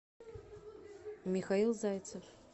михаил зайцев